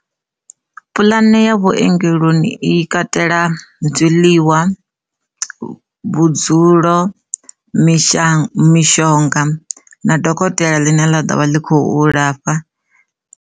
Pulane ya vhuongeloni i katela zwiḽiwa, vhudzulo, misha, mishonga na dokotela ḽine ḽa ḓovha ḽi khou lafha.